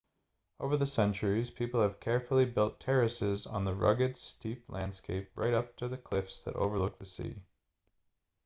over the centuries people have carefully built terraces on the rugged steep landscape right up to the cliffs that overlook the sea